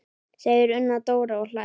segir Una Dóra og hlær.